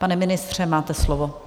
Pane ministře, máte slovo.